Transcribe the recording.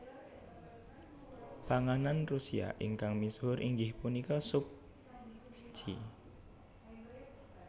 Panganan Rusia ingkang misuhur inggih punika sup shchi